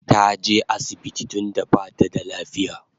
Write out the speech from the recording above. Taje asibiti tunda bata da lafiya